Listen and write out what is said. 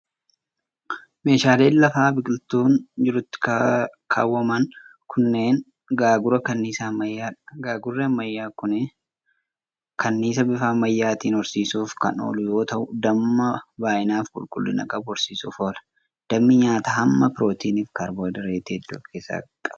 Meeshaaleen lafa biqiltuun jirutti kaawwaman kunneen, gaagura kanniisaa ammayyaa dha. Gaagurri ammayyaa kun, kanniisa bifa ammayyaatin horsiisuuf kan oolu yoo ta'u, damma baay'ina fi qulqullina qabu horsiisuuf oolu. Dammi nyaata hamma pirootinii fi kaarboo hayidireetii hedduu of keessaa qaba.